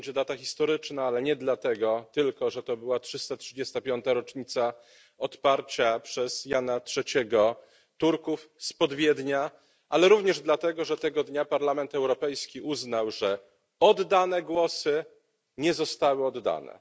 to będzie data historyczna, ale nie tylko dlatego, że to była 335 rocznica odparcia przez Jana III Turków spod Wiednia, ale również dlatego, że tego dnia Parlament Europejski uznał, że oddane głosy nie zostały oddane.